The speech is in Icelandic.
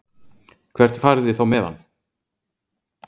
Hvert farið þið þá með hann?